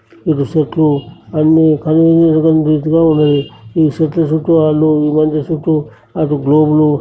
ఇటు సెట్లు అన్ని కన్వీనెంట్ గా కనిపించినట్టు ఉన్నాయి. ఈ సెట్లు సెట్లు అన్ని ఇల్లంతా చెట్లు అటు రూములు --